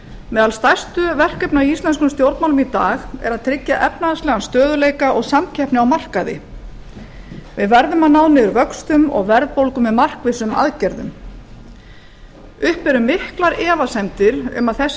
meðal stærstu verkefna í íslenskum stjórnmálum í dag er að tryggja efnahagslegan stöðugleika og samkeppni á markaði við verðum að ná niður vöxtum og verðbólgu með markvissum aðgerðum uppi eru miklar efasemdir um að þessi